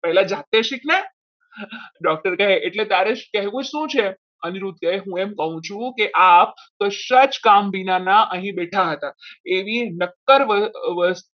પહેલા જાતે શીખને doctor કહે એટલે તારે કહેવું શું છે અનિરુદ્ધ કહે કે હું એમ કહું છું કે આપ કદાચ કામ વિનાના અહીંયા બેઠા હતા એવી નક્કર